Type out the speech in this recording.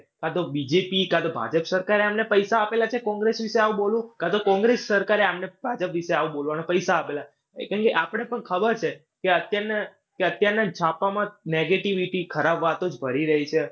કાં તો બીજેપી કાં તો ભાજપ સરકારે આમને પૈસા આપેલા છે. કોંગ્રેસ વિશે આવું બોલું? કાં તો કોંગ્રેસ સરકારે આમને ભાજપ વિશે આવું બોલવાના પૈસા આપેલા. કેમ કે આપણને પણ ખબર છે કે અત્યારના કે અત્યારના છાપામાં negativity ખરાબ વાતો જ ભરી રહી છે.